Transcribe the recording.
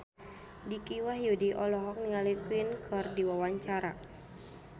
Dicky Wahyudi olohok ningali Queen keur diwawancara